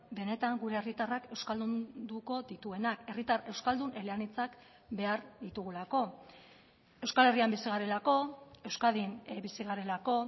benetan gure herritarrak euskaldunduko dituenak herritar euskaldun eleanitzak behar ditugulako euskal herrian bizi garelako euskadin bizi garelako